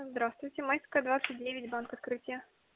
здравствуйте майская двадцать девять банк открытие